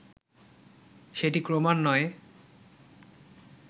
সেটি ক্রমান্বয়ে